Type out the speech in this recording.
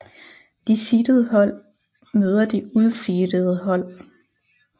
De seedede hold møder de useedede hold